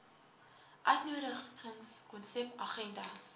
uitnodigings konsep agendas